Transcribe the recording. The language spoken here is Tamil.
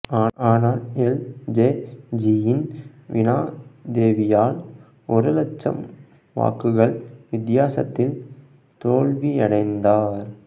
ஆனால் எல் ஜெ ஜியின் வீனா தேவியால் ஒரு லட்சம் வாக்குகள் வித்தியாசத்தில் தோல்வியடைந்தார்